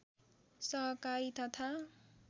सहकारी तथा